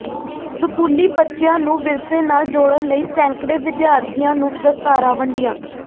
ਸਕੂਲੀ ਬੱਚਿਆਂ ਨੂੰ ਵਿਰਸੇ ਨਾਲ ਜੋੜ੍ਹਨ ਲਈ ਸੈਂਕੜੇ ਵਿਦਿਆਰਥੀਆਂ ਨੂੰ ਦਸਤਾਰਾਂ ਵੰਡੀਆਂ